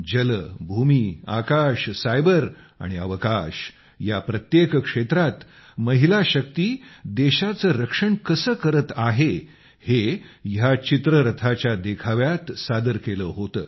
जल भूमी आकाश सायबर आणि अवकाश या प्रत्येक क्षेत्रात महिला शक्ती देशाचे रक्षण कसे करत आहे हे ह्या चित्ररथाच्या देखाव्यात सादर केले होते